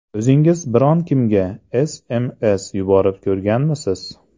O‘zingiz biron kimga SMS yuborib ko‘rganmisiz?